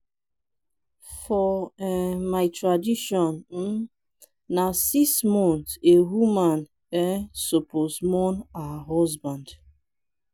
for um my tradition um na six months a woman um suppose mourn her husband.